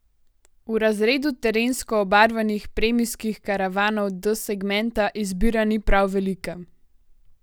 V razredu terensko obarvanih premijskih karavanov D segmenta izbira ni prav velika.